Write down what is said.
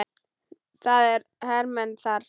Það eru hermenn þar, jú.